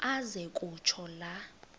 aze kutsho la